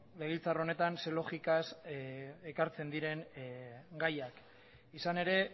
legebiltzar honetan zein logikaz ekartzen diren gaiak izan ere